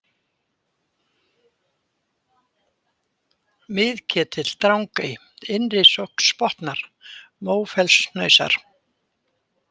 Miðketill, Drangaey, Innri-Sognsbotnar, Mófellshnausar